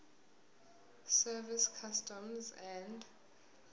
service customs and